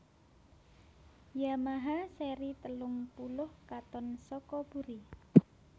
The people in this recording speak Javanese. Yamaha seri telung puluh katon saka buri